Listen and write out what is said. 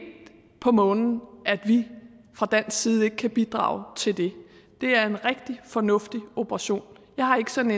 på månen at vi fra dansk side ikke kan bidrage til det det er en rigtig fornuftig operation jeg har ikke sådan